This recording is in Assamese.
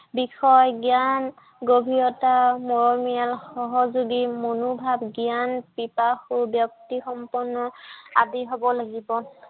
বিষয় জ্ঞান, গভীৰতা, মৰমীয়াল, সহযোগী মনোভাৱ, জ্ঞান পিপাসু ব্য়ক্তিসম্পন্ন আদি হব লাগিব।